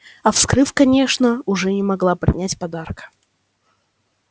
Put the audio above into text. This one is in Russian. а вскрыв конечно уже не могла не принять подарка